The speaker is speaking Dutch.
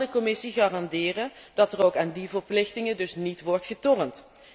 Kan de Commissie garanderen dat er ook aan die verplichtingen niet wordt getornd?